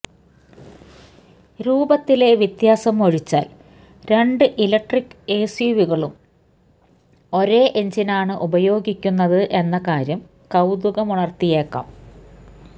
രൂപത്തിലെ വ്യത്യാസം ഒഴിച്ചാൽ രണ്ട് ഇലക്ട്രിക് എസ്യുവികളും ഒരേ എഞ്ചിനാണ് ഉപയോഗിക്കുന്നത് എന്ന കാര്യം കൌതുകമുണർത്തിയേക്കാം